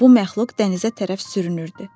Bu məxluq dənizə tərəf sürünürdü.